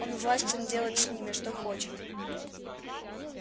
он властен делать с ними что хочет